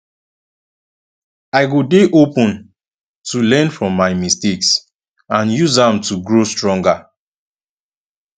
i go dey open to learn from my mistakes and use am to grow stronger